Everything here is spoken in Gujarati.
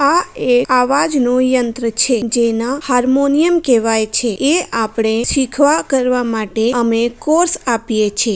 આ એ આવાજનો યંત્ર છે જેના હાર્મોનિયમ કેવાય છે. એ આપડે શીખવા કરવા માટે અમે કોર્સ આપીયે છે.